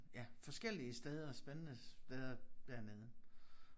Ja forskellige steder spændende steder dernede